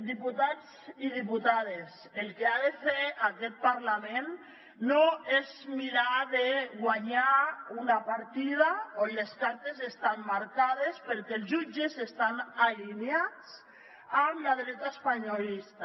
diputats i diputades el que ha de fer aquest parlament no és mirar de guanyar una partida on les cartes estan marcades perquè els jutges estan alineats amb la dreta espanyolista